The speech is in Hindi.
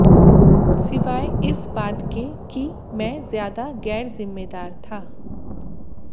सिवाय इस बात के कि मैं ज्यादा गैरजिम्मेदार था